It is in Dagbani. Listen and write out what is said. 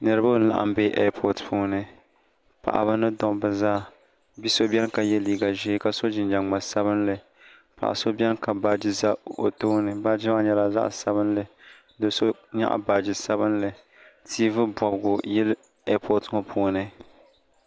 niriba n-laɣim be repootipuuni paɣiba ni dabba zaa bi' so beni ka ye liiga ʒee ka so jinjam ŋma sabinli paɣ' so beni ka baaji za o tooni do' so nyaɣi baaji sabinli tiivi bɔbigu yili epooti ŋɔ puuni